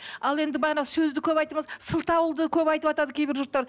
ал енді бағана сөзді көп айттыңыз сылтауды көп айтыватады кейбір жұрттар